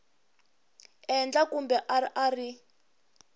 endla kumbe a a ri